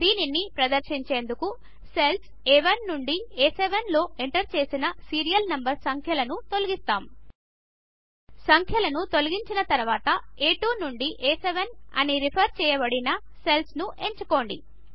దీనిని ప్రదర్శించేందుకు సెల్స్ A1నుండి అ7 లో ఎంటర్ చేసిన సీరియల్ సంఖ్యలను తొలగిస్తాము సంఖ్యలను తొలగించిన తరువాత అ2 నుండి అ7 అని రెఫరెన్స్ చేయబడిన సెల్స్ను ఎంచుకోండి